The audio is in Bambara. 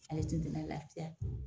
Ale tun tɛna laafiya.